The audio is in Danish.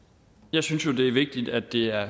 jeg synes jo det er vigtigt at det er